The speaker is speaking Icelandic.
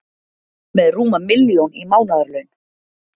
Með rúma milljón í mánaðarlaun